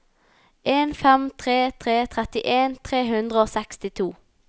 en fem tre tre trettien tre hundre og sekstito